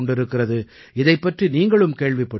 இதைப் பற்றி நீங்களும் கேள்விப்பட்டிருப்பீர்கள்